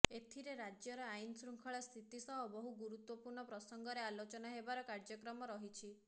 ଏଥିରେ ରାଜ୍ୟର ଆଇନ୍ ଶୃଙ୍ଖଳା ସ୍ଥିତି ସହ ବହୁ ଗୁରୁତ୍ୱପୂର୍ଣ୍ଣ ପ୍ରସଙ୍ଗରେ ଆଲୋଚନା ହେବାର କାର୍ଯ୍ୟକ୍ରମ ରହିଛି